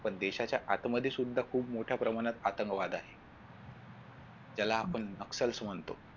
पण देशाच्या आत मध्ये सुद्धा खूप मोठ्या प्रमाणात आतंकवाद आहे त्याला आपण म्हणतो.